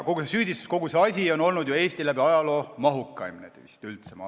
Kogu see süüdistus, kogu see asi on olnud vist üldse Eesti ajaloo mahukaim.